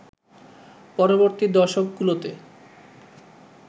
পরবর্তী দশকগুলোতে